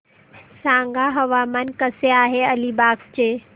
सांगा हवामान कसे आहे अलिबाग चे